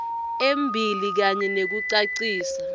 embili kanye nekucacisa